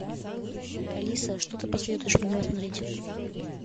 алиса что ты посоветуешь мне посмотреть